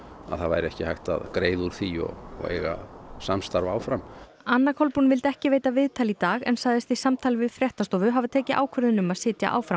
að það væri ekki hægt að greiða úr því eiga samstarf áfram anna Kolbrún vildi ekki veita viðtal í dag en sagðist í samtali við fréttastofu hafa tekið ákvörðun um að sitja áfram